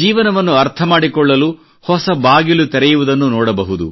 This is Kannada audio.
ಜೀವನವನ್ನು ಅರ್ಥಮಾಡಿಕೊಳ್ಳಲು ಹೊಸ ದ್ವಾರ ತೆರೆಯುವುದನ್ನು ಕಾಣಬಹುದು